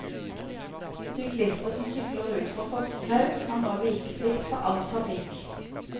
Syklister som sykler ut fra fortau, har nå vikeplikt for all trafikk.